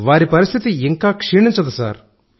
వారి పరిస్థితి ఇంకా క్షీణించదు సార్